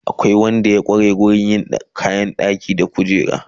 Akwai Wanda ya kware wurin yin kayan ɗaki da kujeru